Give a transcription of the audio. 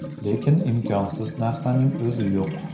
Lekin imkonsiz narsaning o‘zi yo‘q.